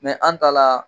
an ta la